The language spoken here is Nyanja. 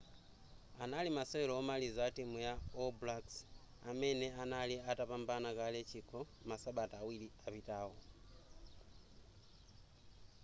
anali masewero omaliza a timu ya all blacks amene anali atapambana kale chikho masabata awiri apitawo